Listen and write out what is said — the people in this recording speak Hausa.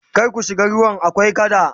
kar ku shiga ruwan akwai kada!